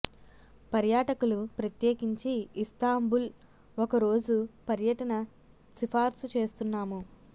పర్యాటకులు ప్రత్యేకించి ఇస్తాంబుల్ ఒక రోజు పర్యటన సిఫార్సు చేస్తున్నాము